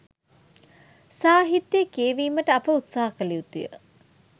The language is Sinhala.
සාහිත්‍යය කියැවීමට අප උත්සහ කළ යුතුය